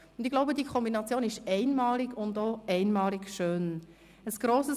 Ich glaube, dass die Kombination einmalig und auch einmalig schön ist.